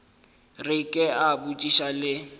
re ke a botšiša le